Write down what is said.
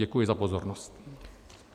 Děkuji za pozornost.